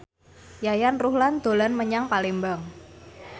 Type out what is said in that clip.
Yayan Ruhlan dolan menyang Palembang